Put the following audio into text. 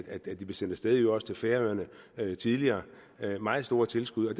at de blev sendt af sted i øvrigt også til færøerne tidligere det var meget store tilskud og